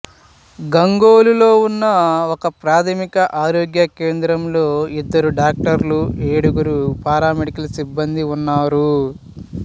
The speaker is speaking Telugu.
గంగోలులో ఉన్న ఒకప్రాథమిక ఆరోగ్య కేంద్రంలో ఇద్దరు డాక్టర్లు ఏడుగురు పారామెడికల్ సిబ్బందీ ఉన్నారు